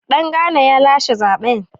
Dangana ya lashe zaben.